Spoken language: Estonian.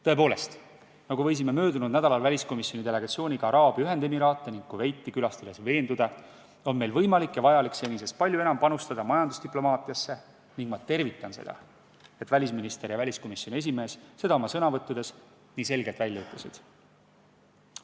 Tõepoolest, nagu võisime möödunud nädalal väliskomisjoni delegatsiooniga Araabia Ühendemiraate ning Kuveiti külastades veenduda, on meil võimalik ja vajalik senisest palju enam panustada majandusdiplomaatiasse ning ma tervitan seda, et välisminister ja väliskomisjoni esimees selle oma sõnavõttudes ka nii selgelt välja ütlesid.